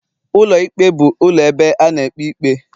Ụlọ ikpe bụ ụlọ ebe a na-ekpe ikpe